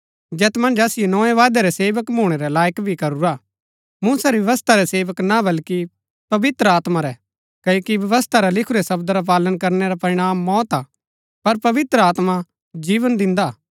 जैत मन्ज असिओ नोए वायदै रै सेवक भूणै रै लायक भी करूरा मूसा री व्यवस्था रै सेवक ना बल्कि पवित्र आत्मा रै क्ओकि व्यवस्था रा लिखुरै शब्द रा पालन करनै रा परिणाम मौत हा पर पवित्र आत्मा जीवन दिन्दा हा